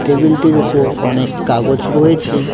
Table -টির উপর অনেক কাগজ রয়েছে।